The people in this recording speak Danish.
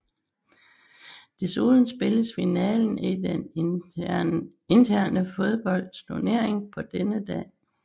Desuden spilles finalen i den interne fodboldturnering på denne dag